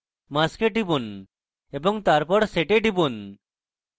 mask এ টিপুন এবং তারপর set এ টিপুন